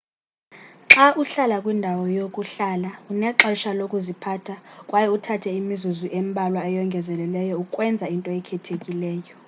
xa uhlala kwindawo yokuhlala unexesha lokuziphatha kwaye uthathe imizuzu embalwa eyongezelelweyo ukwenza into ekhethekileyo